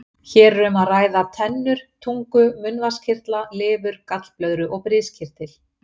Hér er um að ræða tennur, tungu, munnvatnskirtla, lifur, gallblöðru og briskirtil.